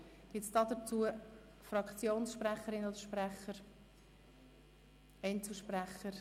Gibt es hierzu Fraktionssprecherinnen oder -sprecher respektive Einzelsprecher?